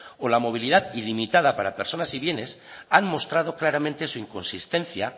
o la movilidad ilimitada para personas y bienes han mostrado claramente su inconsistencia